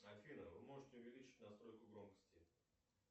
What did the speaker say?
афина вы можете увеличить настройку громкости